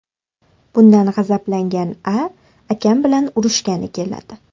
Bundan g‘azablangan A. akam bilan urishgani keladi.